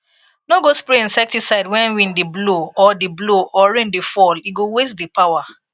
no go spray insecticide when wind dey blow or dey blow or rain dey fall e go waste the power